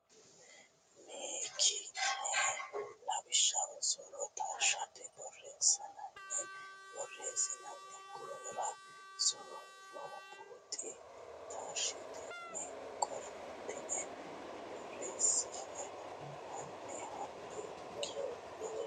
ni ki ne lawishshu so ro taashshite borreessansa borreessinoonni gufora so ro buuxi taashshitine qoltine borreesse hanni hanni ki ne.